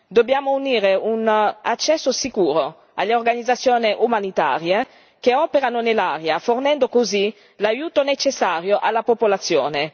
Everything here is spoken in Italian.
Dobbiamo garantire un accesso sicuro alle organizzazioni umanitarie che operano nell'area, fornendo così l'aiuto necessario alla popolazione.